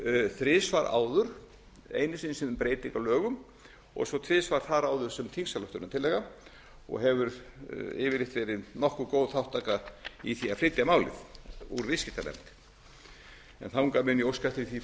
þrisvar áður einu sinni sem breyting á lögum og svo tvisvar þar áður sem þingsályktunartillaga og hefur yfirleitt verið nokkuð góð þátttaka í því að flytja málið úr viðskiptanefnd en þangað mun ég óska eftir frú